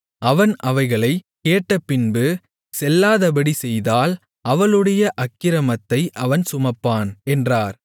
அவன் அவைகளைக் கேட்டபின்பு செல்லாதபடி செய்தால் அவளுடைய அக்கிரமத்தை அவன் சுமப்பான் என்றார்